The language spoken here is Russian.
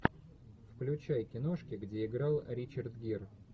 включай киношки где играл ричард гир